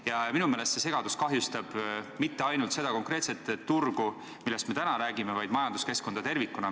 Ja minu meelest see segadus ei kahjusta mitte ainult seda konkreetset turgu, millest me täna räägime, vaid majanduskeskkonda tervikuna.